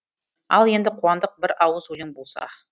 ал енді қуандық бір ауыз өлең болса